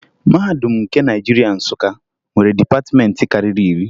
Mahadum nke Naịjirịa, Nsụka, nwere dịpatịmentị karịrị iri